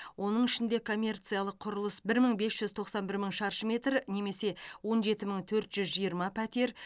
оның ішінде коммерциялық құрылыс бір мың бес жүз тоқсан бір мың шаршы метр немесе он жеті мың төрт жүз жиырма пәтер